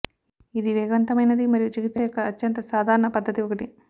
ఇది వేగవంతమైనది మరియు చికిత్స యొక్క అత్యంత సాధారణ పద్ధతి ఒకటి